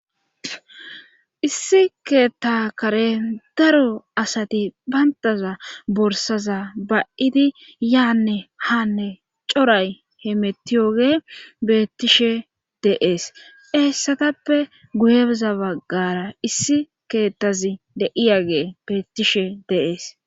Issi keetta kare daro asati bayntaza borsaza ba'idi yaanne haanne coray he mettiyoge beettishe deees eessatappe guyebza baggara issi keettazi de'iyagee beettishe deees